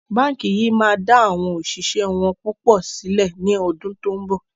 Báńkì yìí máa da awon òṣìṣẹ́ wọn púpọ̀ sílẹ̀ ni ọdún to ń bọ̀.